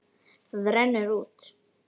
Það rennur út.